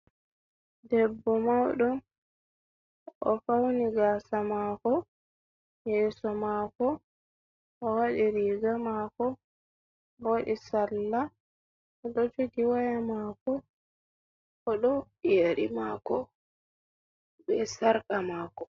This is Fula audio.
Debbo mauɗo, o fauni gaasa mako, yeso mako, o waɗi riga mako, owaɗi sarla, oɗo jogi waya mako, oɗo waɗi yeri mako, be sarqa mako.